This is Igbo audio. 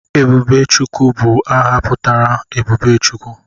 Ebubechukwu bụ aha pụtara 'Ebube Chukwu'